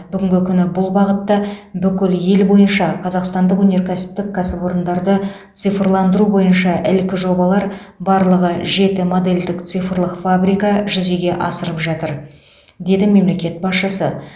бүгінгі күні бұл бағытта бүкіл ел бойынша қазақстандық өнеркәсіптік кәсіпорындарды цифрландыру бойынша ілкі жобалар барлығы жеті модельдік цифрлық фабрика жүзеге асырылып жатыр деді мемлекет басшысы